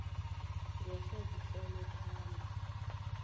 ngehla zitlolwe phambi